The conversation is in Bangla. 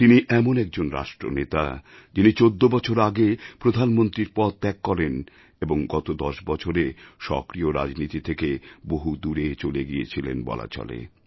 তিনি এমন একজন রাষ্ট্রনেতা যিনি ১৪ বছর আগে প্রধানমন্ত্রীর পদ ত্যাগ করেন এবং গত দশ বছরে সক্রিয় রাজনীতি থেকে বহু দূরে চলে গিয়েছিলেন বলা চলে